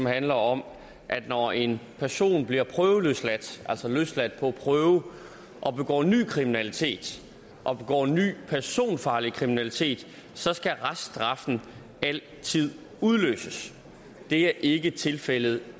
handler om at når en person bliver prøveløsladt altså løsladt på prøve og begår ny kriminalitet og begår ny personfarlig kriminalitet så skal reststraffen altid udløses det er ikke tilfældet